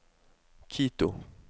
Quito